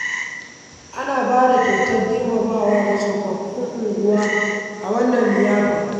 An ba da kyautar girmamawa ga tsofaffin unguwa a wannan liyafa.